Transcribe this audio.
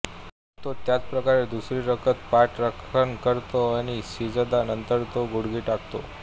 मग तो त्याच प्रकारे दुसरी रकत पठण करतो आणि सिजदा नंतर तो गुडघे टेकतो